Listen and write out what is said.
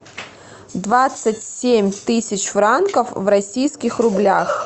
двадцать семь тысяч франков в российских рублях